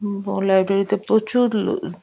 ব লাইব্রেরি -তে প্রচুর লো ল --